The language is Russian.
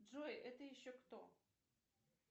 джой это еще кто